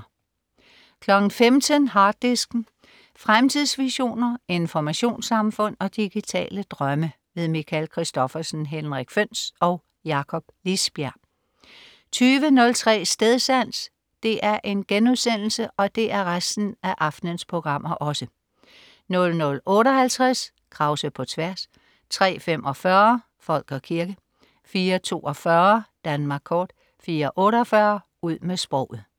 15.00 Harddisken. Fremtidsvisioner, informationssamfund og digitale drømme. Michael Christophersen, Henrik Føhns og Jakob Lisbjerg 20.03 Stedsans* 00.58 Krause på tværs* 03.45 Folk og kirke* 04.42 Danmark kort* 04.48 Ud med sproget*